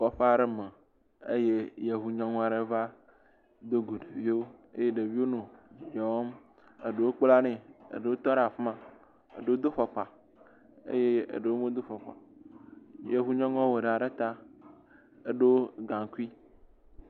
Le kɔƒe aɖe me eye Yevu nyɔnu aɖe va do go ɖeviwo eye ɖeviwo nɔ yɔɔm. Eɖewo kpla nɛ, eɖowo tɔ ɖe afi ma. Eɖewo do fɔkpa eye eɖwo medo fɔkpa o. Yevu nyɔnua wɔ ɖa ɖe ta, edo gaŋkui.